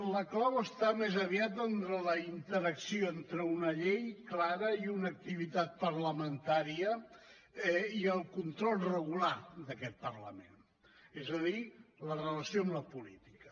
la clau està més aviat en la interacció entre una llei clara i una activitat parlamentària i el control regular d’aquest parlament és a dir la relació amb la política